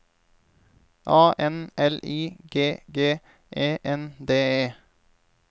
A N L I G G E N D E